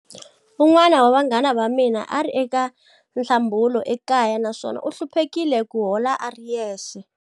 Un'wana wa vanghana va mina a ri eka nhlambulo ekaya naswona u hluphekile ku hola a ri yexe.